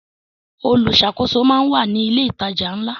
Olùṣàkóso máa ń wà ní ilé ìtajà ńlá.